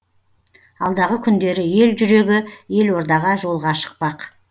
алдағы күндері ел жүрегі елордаға жолға шықпақ